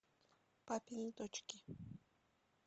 папины дочки